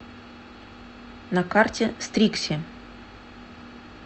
на карте стрикси